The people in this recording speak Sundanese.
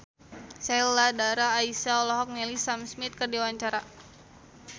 Sheila Dara Aisha olohok ningali Sam Smith keur diwawancara